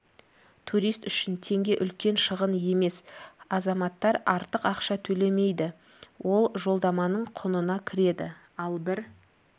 турист үшін теңге үлкен шығын емес азаматтар артық ақша төлемейді ол жолдаманың құнына кіреді ал бір